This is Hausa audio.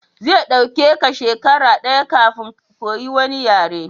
Zai ɗauke ka shekara daya kafin ka koyi wani yare